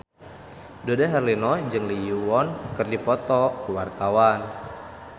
Dude Herlino jeung Lee Yo Won keur dipoto ku wartawan